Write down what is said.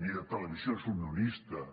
ni de televisions unionistes